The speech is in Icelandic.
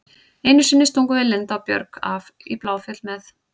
Einu sinni stungum við Linda og Björg af upp í Bláfjöll með